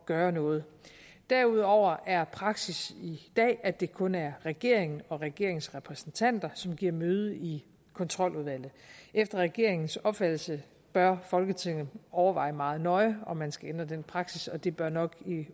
gøre noget derudover er praksis i dag at det kun er regeringen og regeringens repræsentanter som giver møde i kontroludvalget efter regeringens opfattelse bør folketinget overveje meget nøje om man skal ændre den praksis og det bør nok